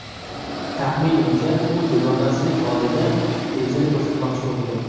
Taxminimcha, u dugonasining oldida o‘zini ko‘rsatmoqchi bo‘lgan.